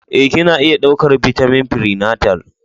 Ee, Kina iya ɗaukar bitamin prenatal.